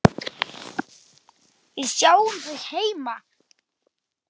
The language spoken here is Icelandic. Við sjáum þig heima.